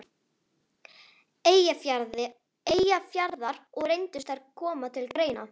Eyjafjarðar, og reyndust þær koma til greina.